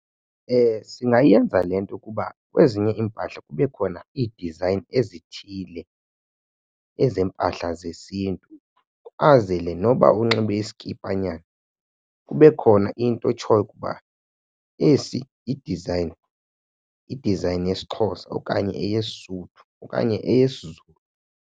Singayenza le nto ukuba kwezinye iimpahla kube khona ii-design ezithile ezempahla zesiNtu azele noba unxibe iskipanyana kube khona into etshoyo ukuba esi yidizayini, idizayini yesiXhosa okanye, eyeSotho okanye eyesiZulu.